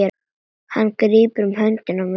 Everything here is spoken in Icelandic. Hann grípur um hönd mína.